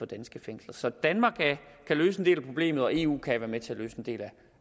danske fængsler så danmark kan løse en del af problemet og eu kan være med til at løse en del